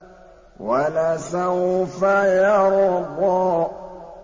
وَلَسَوْفَ يَرْضَىٰ